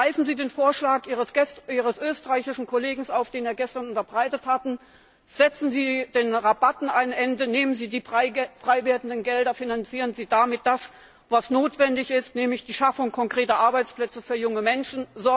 Greifen Sie den Vorschlag Ihres österreichischen Kollegen auf, den er gestern unterbreitet hat, setzen Sie den Rabatten ein Ende, nehmen Sie die freiwerdenden Gelder, finanzieren Sie damit das, was notwendig ist, nämlich die Schaffung konkreter Arbeitsplätze für junge Menschen.